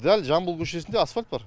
дәл жамбыл көшесінде асфальт бар